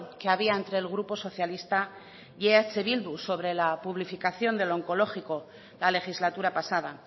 que había entre el grupo socialista y eh bildu sobre la publificación del onkologiko la legislatura pasada